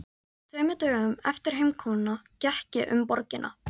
Tveimur dögum eftir heimkomuna gekk ég um borgina.